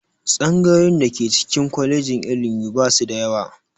Tsangayoyin da ke ciki kwalejin ilimi ba su da yawa